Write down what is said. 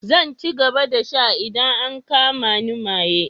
Zan ci gaba da sha idan an kama ni maye.